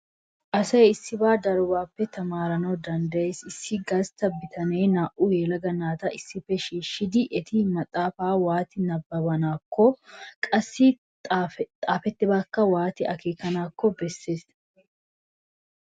Asay issibaa darobaappe tamaarana danddayees. Issi gastta bitanee naa"u yelaga naata issippe shiishshidi eti maxaafaa waati nabbabanaakkonne qassi xaafettidabaakka waati akeekanaakko bessees.